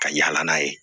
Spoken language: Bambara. Ka yala n'a ye